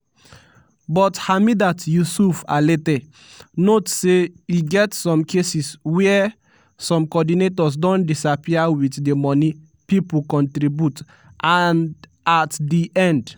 but hamidat yusuf alete note say e get some cases wia some coordinators don disappear wit di money pipo contribute and at di end